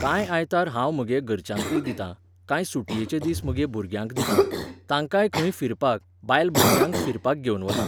कांय आयतार हांव म्हगे घरच्यांकय दितां, कांय सुटयेचे दीस म्हगे भुरग्यांक दितां, तांकांय खंय फिरपाक, बायलभुरग्यांक फिरपाक घेवन वतां.